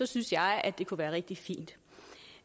synes jeg at det kunne være rigtig fint